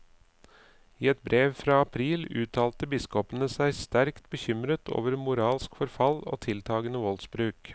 I et brev fra april uttalte biskopene seg sterkt bekymret over moralsk forfall og tiltagende voldsbruk.